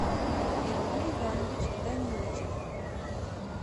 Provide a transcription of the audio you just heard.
эмиль иванович данилычев